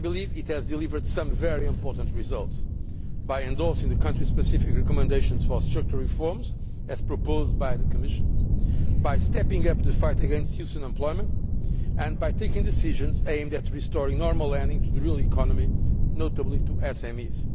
It has delivered some very important results by endorsing the country specific recommendations for structural reforms as proposed by the Commission, by stepping up the fight against youth unemployment, and by taking decisions aimed at restoring normal lending to the real economy, notably to SMEs.